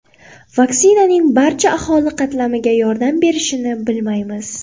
Vaksinaning barcha aholi qatlamiga yordam berishini bilmaymiz.